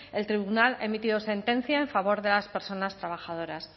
el tribunal ha emitido sentencia en favor de las personas trabajadoras